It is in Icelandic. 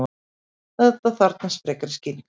Þetta þarfnast frekari skýringar.